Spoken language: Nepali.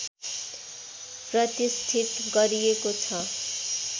प्रतिष्ठित गरिएको छ